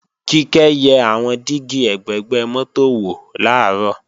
Kíkẹ́ yẹ àwọn dígí ẹ̀gbẹ̀gbẹ́ mọ́tò wò làárọ̀